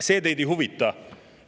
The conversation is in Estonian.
See teid ei huvita!